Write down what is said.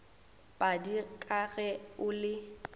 padi ka ge o le